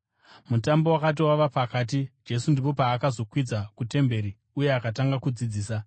Mutambo wakati wava pakati, Jesu ndipo paakazokwidza kutemberi uye akatanga kudzidzisa.